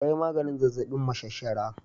Ta yi maganin zazzabin mashashara